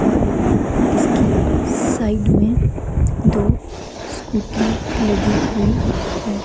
और इसकी साइड में दो स्कूटीयां लगी हुई है।